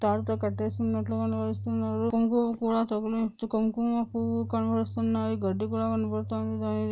దీనిని తాడుతో కట్టేసినట్టు కనపడుతుంది కుంకుమ పూలతో కుంకుమ పువ్వు కనపడిస్తున్నాయి గడ్డి కూడా కనపడుతుంది --